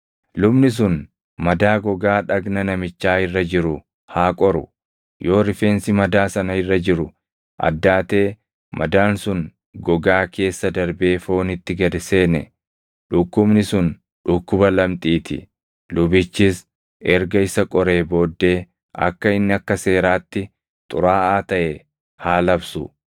Lubni sun madaa gogaa dhagna namichaa irra jiru haa qoru; yoo rifeensi madaa sana irra jiru addaatee madaan sun gogaa keessa darbee foonitti gad seene, dhukkubni sun dhukkuba lamxii ti. Lubichis erga isa qoree booddee akka inni akka seeraatti xuraaʼaa taʼe haa labsu.